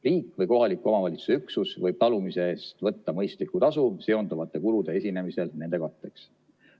Riik või kohaliku omavalitsuse üksus võib talumise eest võtta mõistlikku tasu seonduvate kulude esinemisel nende katteks.